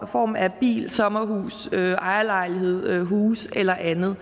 form af bil sommerhus ejerlejlighed huse eller andet